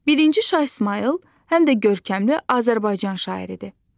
Birinci Şah İsmayıl həm də görkəmli Azərbaycan şairi idi.